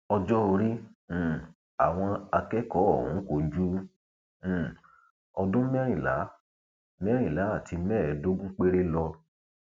ọjọ orí um àwọn akẹkọọ ọhún kò ju um ọdún mẹrìnlá mẹrìnlá àti mẹẹẹdógún péré lọ